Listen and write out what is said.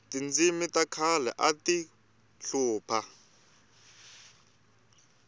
tindzimi ta khale ati hlupha